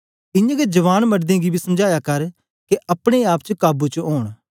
इयां गै जवान मडदें गी बी समझाया कर के अपने आप च काबू च ओंन